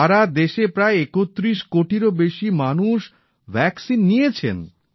সারা দেশে প্রায় ৩১ কোটিরও বেশি মানুষ ভ্যাক্সিন নিয়েছেন